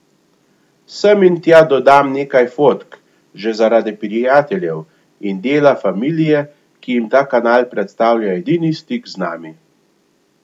Sem in tja dodam nekaj fotk, že zaradi prijateljev in dela familije, ki jim ta kanal predstavlja edini stik z nami.